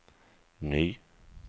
ny